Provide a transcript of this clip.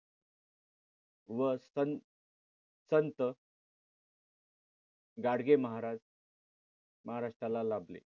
व संत संत गाडगे महाराज महाराष्ट्राला लाभले.